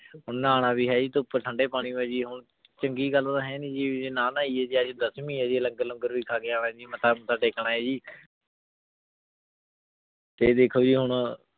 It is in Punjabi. ਹੁਣ ਨਾਹਨ ਵੀ ਹੈ ਜੀ ਧੂਪ ਠੰਡੇ ਪਾਣੀ ਮੈਂ ਚੰਗੀ ਗਲ ਤੇ ਹੈ ਨਾਈ ਜੇ ਨਾ ਨਾਹੈਯਾਯ ਜੀ ਆਜ ਦਸਵੀ ਆਯ ਜੀ ਲੰਗਰ ਖਾ ਕੇ ਅਨਾ ਜੀ ਮਤਾਂ ਓਦਾਂ ਦੇਖਣਾ ਆਯ ਜੀ ਤੇ ਦੇਖੋ ਜੀ ਹੁਣ